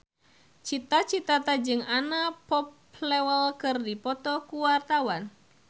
Cita Citata jeung Anna Popplewell keur dipoto ku wartawan